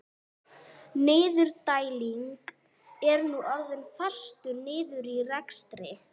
Skáskýtur sér framhjá þegjandalegum vörunum með átján kúa hjartslætti.